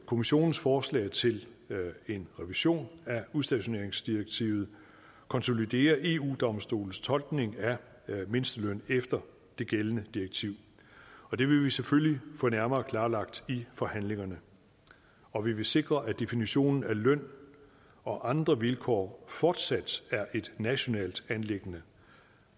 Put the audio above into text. kommissionens forslag til en revision af udstationeringsdirektivet konsoliderer eu domstolens tolkning af mindsteløn efter det gældende direktiv og det vil vi selvfølgelig få nærmere klarlagt i forhandlingerne og vi vil sikre at definitionen af løn og andre vilkår fortsat er et nationalt anliggende